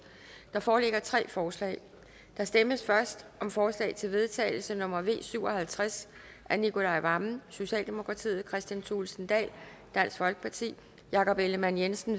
der foreligger tre forslag der stemmes først om forslag til vedtagelse nummer v syv og halvtreds af nicolai wammen kristian thulesen dahl jakob ellemann jensen